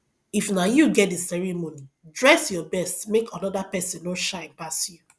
if na you get di ceremony dress your best make another persin no shine pass you